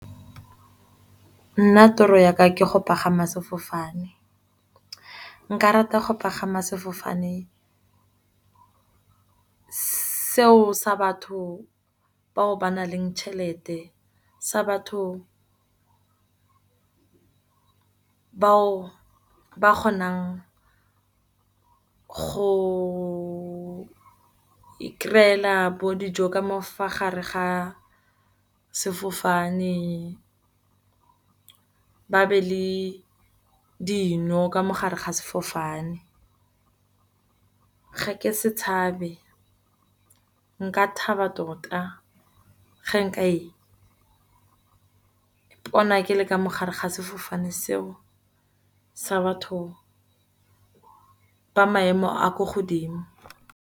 Nna tiro yaka ke go pagama sefofane nka rata go pagama sefofane seo sa batho bao ba na leng tšhelete. Sa batho bao ba kgonang go ikry-ela bo dijo ka mofago gare ga sefofane, ba be le dino ka mogare ga sefofane. Ga ke se tshabe nka thaba tota, ge nka ipona ke le ka mo gare ga sefofane seo, sa batho ba maemo a ko godimo.